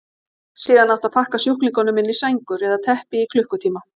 Síðan átti að pakka sjúklingunum inn í sængur eða teppi í klukkutíma.